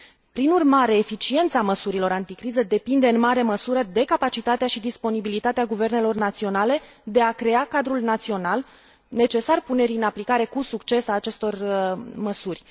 Prin urmare, eficiența măsurilor anticriză depinde în mare măsură de capacitatea și disponibilitatea guvernelor naționale de a crea cadrul național necesar punerii în aplicare cu succes a acestor măsuri.